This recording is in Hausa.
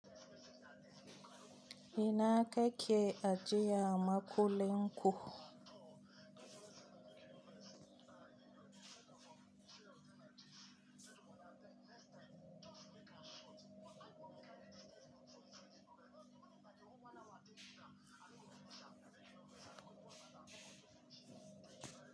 Ina kake ajiya makullin ku?